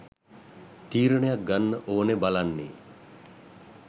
තීරණයක් ගන්න ඕන බලන්නේ